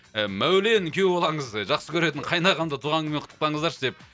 і мәулен күйеу балаңыз жақсы көретін қайнағамды туған күнімен құттықтаңыздаршы деп